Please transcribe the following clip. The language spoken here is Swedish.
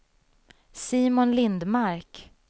Simon Lindmark